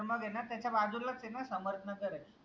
त मग एना त्याच्या बाजुलाच एना समर्थनार्थ नगर